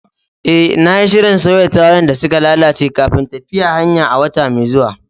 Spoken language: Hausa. Eh, na yi shirin sauya tayoyin da suka lalace kafin tafiyar hanya a wata mai zuwa.